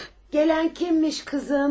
Gələn kimmiş qızım?